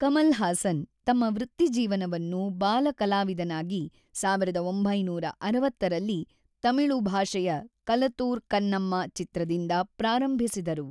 ಕಮಲ್ ಹಾಸನ್ ತಮ್ಮ ವೃತ್ತಿಜೀವನವನ್ನು ಬಾಲ ಕಲಾವಿದನಾಗಿ ೧೯೬೦ರಲ್ಲಿ ತಮಿಳು ಭಾಷೆಯ ಕಲತೂರ್ ಕನ್ನಮ್ಮ ಚಿತ್ರದಿಂದ ಪ್ರಾರಂಭಿಸಿದರು.